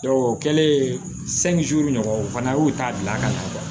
o kɛlen ɲɔgɔn o fana y'u ta bila ka na